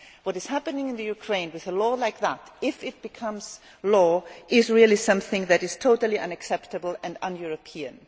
What is happening in Ukraine with a law like that, if it becomes law, is really something that is totally unacceptable and un European.